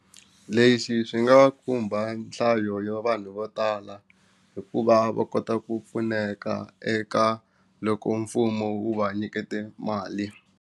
Lexi swi nga khumba nhlayo yo vanhu vo tala hikuva va kota ku pfuneka eka loko mfumo wu va nyikete mali.